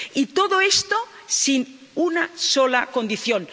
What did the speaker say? Y todo esto sin una sola condición